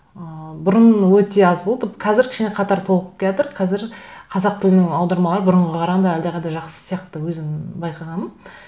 і бұрын өте аз болды қазір кішкене қатары толығып келе жатыр қазір қазақ тілінің аудармалары бұрынға қарағанда әлдеқайда жақсы сияқты өзім байқағаным